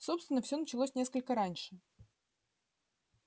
собственно всё началось несколько раньше